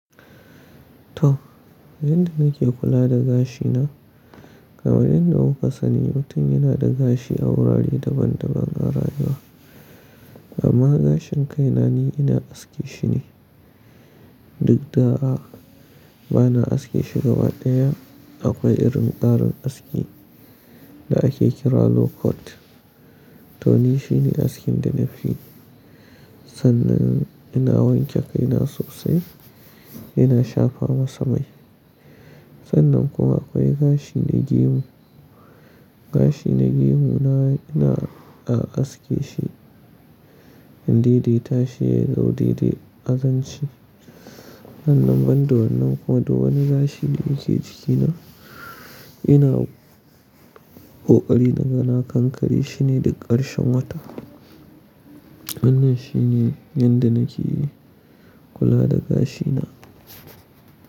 To, yadda nake kula da gashina kamar yadda kuka sani mutum yana da gashi a wurare daban daban a rajin. Amma gashin kai na ni ina aske shi ne. Duk da'a bana aske shi gabaɗaya. Akwai irin ƙarin aski da ake kira low cut to ni shine askin da nafiyi. Sannan ina wanke kaina sosai, ina shafa masa mai. Sannan kuma akwai gashi na gemu. Gashi na gemu na ina a aske shi in dai dai tashi dai dai a zance. Sannan banda wan nan kuma duk wani gashi da yake jikina ina ƙoƙari na ga na kankare shine duk ƙarshen wata. Wannan shine yadda nake kula da gashina.